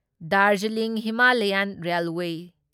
Darjeeling Himalayan railway